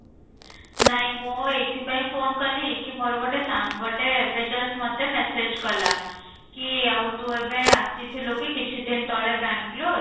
ନାଇଁ ମୁଁ ଏଇଥିପାଇଁ phone କଲି କି ମୋର ଗୋଟେ ସାଙ୍ଗଟେ ଏବେ just ମୋତେ message କଲା କି ଆଉ ତୁ ଏବେ ଆସିଥିଲୁ କି କିଛି ଦିନ ତଳେ ବେଙ୍ଗାଲୁରୁ